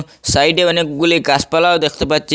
সাইডে অনেকগুলি গাসপালাও দেখতে পাচ্চি ।